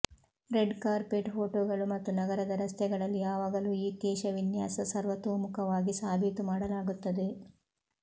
red carpet ಫೋಟೋಗಳು ಮತ್ತು ನಗರದ ರಸ್ತೆಗಳಲ್ಲಿ ಯಾವಾಗಲೂ ಈ ಕೇಶವಿನ್ಯಾಸ ಸರ್ವತೋಮುಖವಾಗಿ ಸಾಬೀತು ಮಾಡಲಾಗುತ್ತದೆ